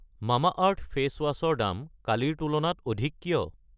Mamaearth face wash ৰ দাম কালিৰ তুলনাত অধিক কিয়?